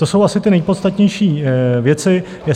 To jsou asi ty nejpodstatnější věci.